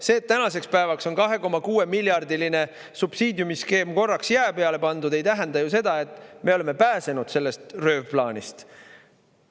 See, et tänaseks päevaks on 2,6-miljardiline subsiidiumiskeem korraks jää peale pandud, ei tähenda ju seda, et me oleme pääsenud sellest röövplaanist.